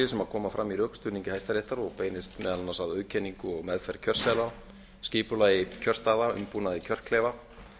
sem koma fram í rökstuðningi hæstaréttar og beinist meðal annars að auðkenningu og meðferð kjörseðla skipulagi kjörstaða umbúnaði kjörklefa